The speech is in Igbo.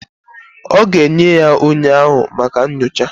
Ọ ga enye ya onye na-ahụ maka nnyocha.